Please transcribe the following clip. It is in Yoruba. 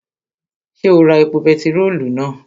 Ṣé o ra epo bentiróòlù náà?